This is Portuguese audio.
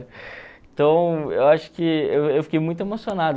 Então, eu acho que eu eu fiquei muito emocionado.